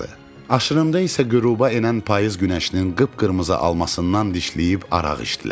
Aşırımda isə qüruba enən payız günəşinin qıpqırmızı almasından dişləyib arağı içdilər.